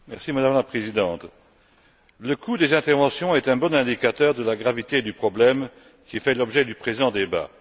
Madame la Présidente, le coût des interventions est un bon indicateur de la gravité du problème qui fait l'objet du présent débat.